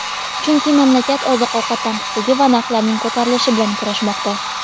chunki mamlakat oziq-ovqat tanqisligi va narxlarning ko‘tarilishi bilan kurashmoqda.